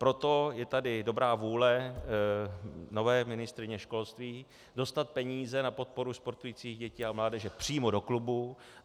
Proto je tady dobrá vůle nové ministryně školství dostat peníze na podporu sportujících dětí a mládeže přímo do klubu.